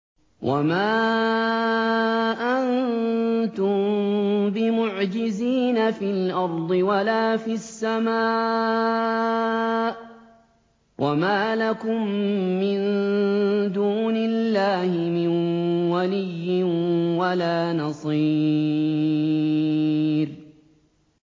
وَمَا أَنتُم بِمُعْجِزِينَ فِي الْأَرْضِ وَلَا فِي السَّمَاءِ ۖ وَمَا لَكُم مِّن دُونِ اللَّهِ مِن وَلِيٍّ وَلَا نَصِيرٍ